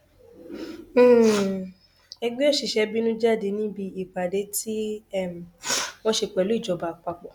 um ẹgbẹ òṣìṣẹ bínú jáde níbi ìpàdé tí um wọn ṣe pẹlú ìjọba àpapọ